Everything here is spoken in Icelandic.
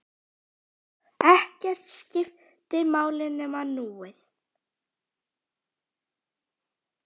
Ekkert skipti máli nema núið.